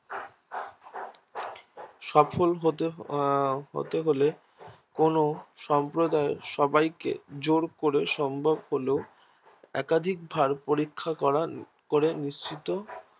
সফল হতে আহ হতে হলে কোনো সম্প্রদায়ের সবাইকে যোর করে সম্ভব হলেও একাধিক বার পরীক্ষা করা করে নিশ্চিত